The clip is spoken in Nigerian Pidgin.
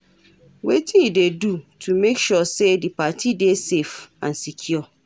Wetin you dey do to make sure say di party dey safe and secure?